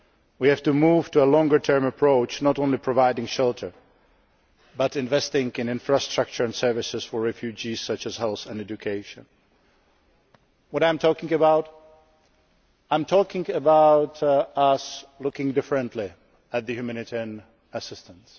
We have to move to a longer term approach, not only providing shelter but also investing in infrastructure and services for refugees, such as health and education. What am I talking about? I am talking about looking differently at humanitarian assistance.